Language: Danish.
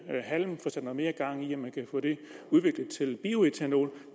halm få sat mere gang i at man kan få det udviklet til bioætanol